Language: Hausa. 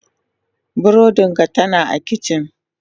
Burodin ka tana a kicin.